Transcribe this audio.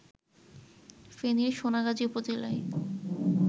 ফেনীর সোনাগাজী উপজেলায়